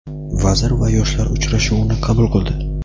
vazir va yoshlar uchrashuvini qabul qildi.